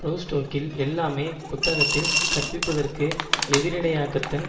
ரோஸ்டோக்கில் எல்லாமே புத்தகத்தில் கற்பிப்பதற்கு எதிரிடையாகத்தான்